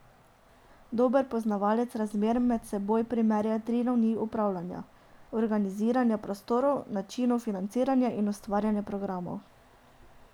Dober poznavalec razmer med seboj primerja tri ravni upravljanja, organiziranja prostorov, načinov financiranja in ustvarjanja programov.